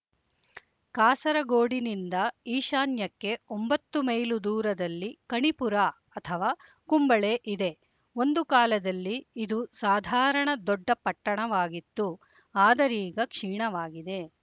ಕಾಸರಗೋಡಿನಿಂದ ಈಶಾನ್ಯಕ್ಕೆ ಒಂಬತ್ತು ಮೈಲು ದೂರದಲ್ಲಿ ಕಣಿಪುರ ಅಥವಾ ಕುಂಬಳೆ ಇದೆ ಒಂದು ಕಾಲದಲ್ಲಿ ಇದು ಸಾಧಾರಣ ದೊಡ್ಡ ಪಟ್ಟಣವಾಗಿತ್ತು ಆದರೀಗ ಕ್ಷೀಣವಾಗಿದೆ